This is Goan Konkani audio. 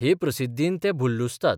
हे प्रसिद्धीन ते भुल्लुसतात.